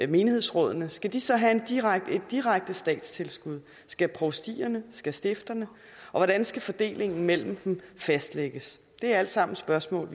menighedsrådene skal de så have et direkte statstilskud skal provstierne skal stifterne og hvordan skal fordelingen imellem dem fastlægges det er alt sammen spørgsmål